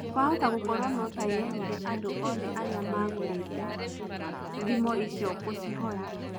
Kwahota gũkorwo Nota yerirĩ andũ othe arĩa magũrite thimo icio gũcihoria